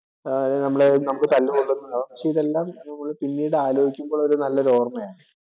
അല്ലേ നമ്മളെ നമുക്ക് തല്ലുകൊള്ളുന്നതും പക്ഷെ ഇതെല്ലാം നമ്മള് പിന്നീടു ആലോചിക്കുമ്പോൾ ഒരു നല്ലൊരു ഓർമ്മയാണ്.